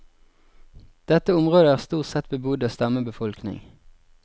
Dette området er stort sett bebodd av stammebefolkning.